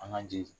An ka jeli